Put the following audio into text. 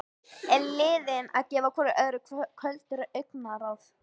Eru liðin að gefa hvoru öðru köld augnaráð?